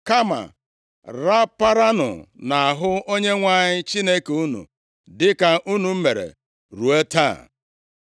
Kama raparanụ + 23:8 \+xt Dit 10:20\+xt* nʼahụ Onyenwe anyị Chineke unu dịka unu mere ruo taa.